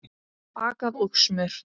Bakað og smurt.